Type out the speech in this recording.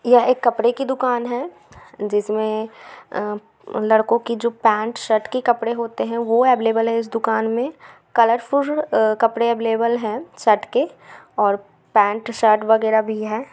यह एक कपड़े की दुकान है जिसमे अअ ए लड़कों के जो पैंट शर्ट के कपड़े होते है वो अवेलेबल है इस दुकान मे कलर फूल कपड़े अवेलेबल हैं शर्ट के और पैंट शर्ट वागेरा भी हैं।